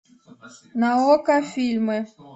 на окко фильмы